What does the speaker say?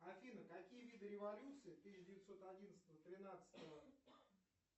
афина какие виды революции тысяча девятьсот одиннадцатого тринадцатого